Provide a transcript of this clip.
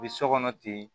U bɛ so kɔnɔ ten